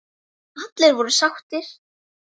Allir voru sáttir.